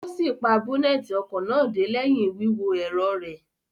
O si pa boneti ọkọ náà dé lẹhin wíwo ẹrọ rẹ